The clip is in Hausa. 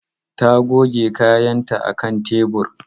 Ta goge kayanta a kan tebur.